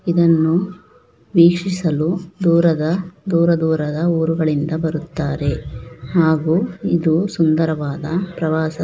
ಇದನ್ನು ವೀಕ್ಷಿಸಲು ದೂರದ ದೂರದೂರದ ಊರುಗಳಿಂದ ಬರುತ್ತಾರೆ ಹಾಗು ಇದು ಸುಂದರವಾದ ಪ್ರವಾಸ--